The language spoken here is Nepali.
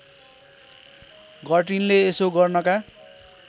गर्टिनले यसो गर्नका